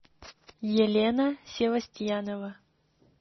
елена севастьянова